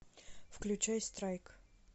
включай страйк